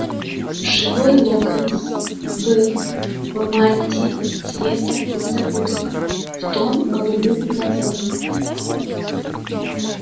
живой локонс был в мантии цвета незабудок в тон голубым глазам